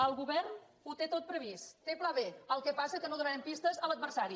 el govern ho té tot previst té pla b el que passa que no donarem pistes a l’adversari